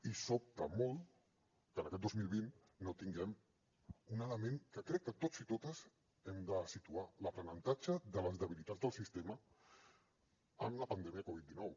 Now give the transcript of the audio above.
i sobta molt que en aquest dos mil vint no tinguem un element que crec que tots i totes hem de situar l’aprenentatge de les debilitats del sistema amb la pandèmia covid dinou